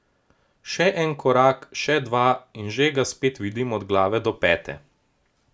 Še en korak, še dva in že ga spet vidim od glave do pete.